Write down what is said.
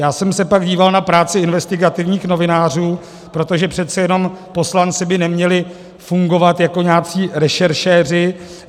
Já jsem se pak díval na práci investigativních novinářů, protože přece jenom poslanci by neměli fungovat jako nějací rešeršéři.